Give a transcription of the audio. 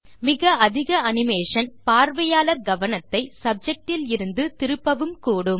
மிக அதிக அனிமேஷன் பார்வையாளர் கவனத்தை சப்ஜெக்டிலிருந்து திருப்பவும் கூடும்